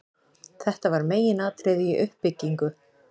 Þetta var meginatriði í uppbyggingu